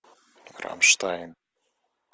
рамштайн